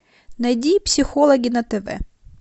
найди психологи на тв